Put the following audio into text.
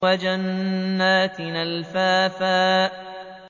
وَجَنَّاتٍ أَلْفَافًا